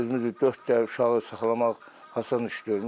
Özümüz dörd dəfə uşağı saxlamaq asan iş deyil.